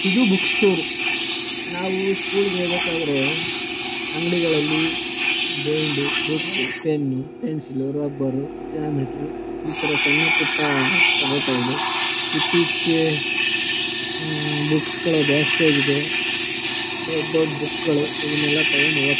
ಇದು book store ನಾವು school ಗೆ ಹೋಗ್ಬೇಕಾದ್ರೆ ಅಂಗಡಿಗಳಲ್ಲಿ bind book pen pencil rubber geometry ಈ ತರ ಸಣ್ಣ ಪುಟ್ಟ ತಗೋತಾ ಇದ್ವಿ. ಇತ್ತೀಚಿಗೆ ಹಮ್ ಬುಕ್ಸ್ ಗಳು ಜಾಸ್ತಿ ಆಗಿದೆ ದೊಡ್ ದೊಡ್ಡ್ ಬುಕ್ ಗಳು ಇವನ್ನೆಲ್ಲ ತಗೊಂಡು ಓದ್ .